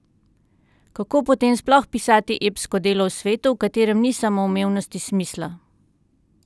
Kako potem sploh pisati epsko delo v svetu, v katerem ni samoumevnosti smisla?